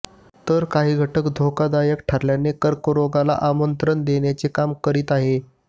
तर काही घटक धोकादायक ठरल्याने कर्करोगाला आमंत्रण देण्याचे काम करीत आहेत